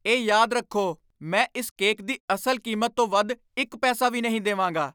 ਇਹ ਯਾਦ ਰੱਖੋ! ਮੈਂ ਇਸ ਕੇਕ ਦੀ ਅਸਲ ਕੀਮਤ ਤੋਂ ਵੱਧ ਇੱਕ ਪੈਸਾ ਵੀ ਨਹੀਂ ਦੇਵਾਂਗਾ!